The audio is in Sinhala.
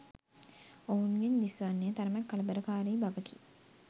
ඔවුන්ගෙන් දිස්වන්නේ තරමක කලබලකාරි බවකි.